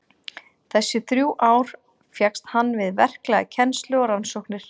Þessi þrjú ár fékkst hann við verklega kennslu og rannsóknir.